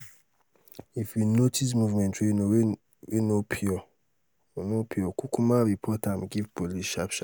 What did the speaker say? if you notice movement wey no pure no pure kukuma report am give police sharp sharp